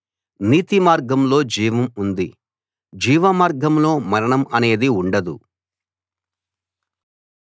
నీతిమార్గంలో జీవం ఉంది జీవమార్గంలో మరణం అనేది ఉండదు